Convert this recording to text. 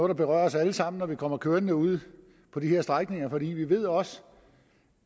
der berører os alle sammen når vi kommer kørende derude på de her strækninger for vi ved også